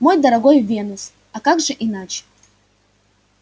мой дорогой венус а как же иначе